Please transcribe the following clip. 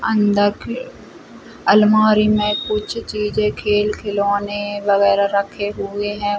अंदर के अलमारी मे कुछ चीजे खेल-खिलौने वगेरा रखे हुए है। --